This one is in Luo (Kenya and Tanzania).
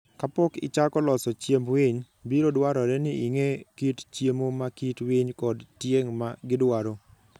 Ka pok ichako loso chiemb winy, biro dwarore ni ing'e kit chiemo ma kit winy kod tieng' ma gidwaro.